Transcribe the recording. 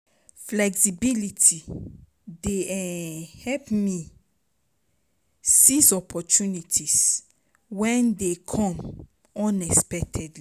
Flexibility dey um help me seize opportunities when they come unexpectedly.